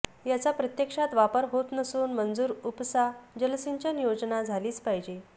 याचा प्रत्यक्षात वापर होत नसून मंजूर उपसा जलसिंचन योजना झालीच पाहिजे